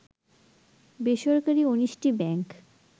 বেসরকারি ১৯টি ব্যাংক